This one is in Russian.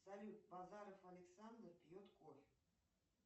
салют базаров александр пьет кофе